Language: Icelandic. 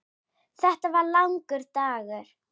Þetta var langur dagur.